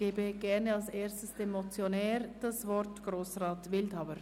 Das Wort hat der Motionär, Grossrat Wildhaber.